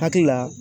Hakili la